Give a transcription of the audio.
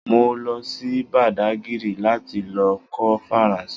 Mo lọ sí bàdágírì láti lọ kọ́ Faransé